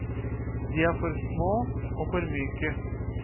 De er for små og for myke.